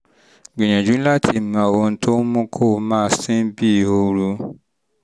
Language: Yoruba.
gbìyànjú láti mọ ohun tó ń mú kó o máa sín bíi ooru